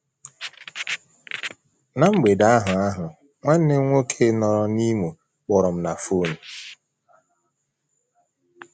Ná mgbede ahụ ahụ, nwanne m nwoke nọrịị n’Imo kpọrọ m na fon.